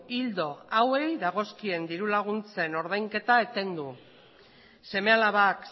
ildo hauei dagozkien dirulaguntzen ordainketa etendu seme alabak